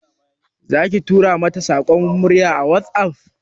Zaki tura mata saƙon murya a WhatsApp?